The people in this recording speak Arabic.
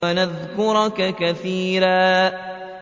وَنَذْكُرَكَ كَثِيرًا